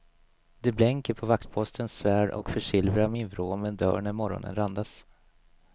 Det blänker på vaktpostens svärd och försilvrar min vrå men dör när morgonen randas.